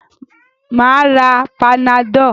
Mà á ra panadol.